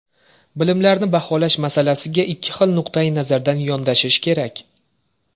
Bilimlarni baholash masalasiga ikki xil nuqtai nazardan yondashish kerak.